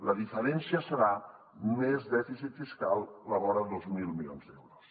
la diferència serà més dèficit fiscal a la vora de dos mil milions d’euros